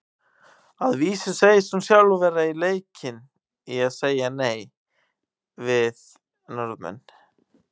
Að vísu segist hún sjálf vera leikin í að segja nei við Norðmenn.